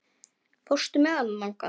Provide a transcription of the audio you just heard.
Fórstu með honum þangað?